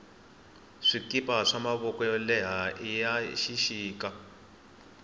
swikipa swa mavoko yo leha iya xixita